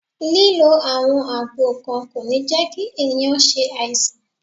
Lílo àwọn àgbo kan kò ní jẹ́ kí ẹ̀yàn ṣe àìsàn.